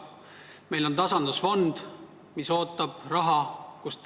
Meil on tasandusfond, mis ootab raha.